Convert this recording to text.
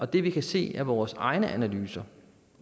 det vi kan se af vores egne analyser